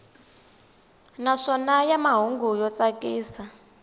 naswona ya mahungu yo tsakisa